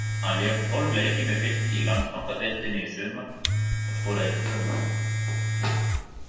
Hann lék tólf leiki með Fylki í Landsbankadeildinni í sumar og skoraði tvö mörk.